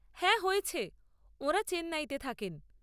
হ্যাঁ হয়েছে, ওঁরা চেন্নাইতে থাকেন।